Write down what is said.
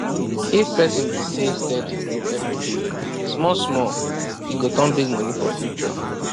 if person dey save steady every day small small e go turn big money for future